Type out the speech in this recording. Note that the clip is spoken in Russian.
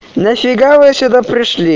нафига вы сюда пришли